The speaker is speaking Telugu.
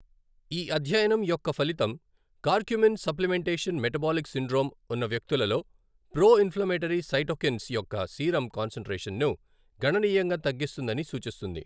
ఈ అధ్యయనం యొక్క ఫలితం కర్కుమిన్ సప్లిమెంటేషన్ మెటబాలిక్ సిండ్రోమ్ ఉన్న వ్యక్తులలో ప్రో ఇన్ఫ్లమేటరీ సైటోకిన్స్ యొక్క సీరం కాన్సంట్రేషన్ను గణనీయంగా తగ్గిస్తుందని సూచిస్తుంది.